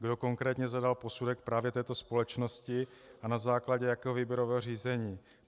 Kdo konkrétně zadal posudek právě této společnosti a na základě jakého výběrového řízení?